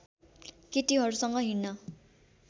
केटीहरूसँग हिँडन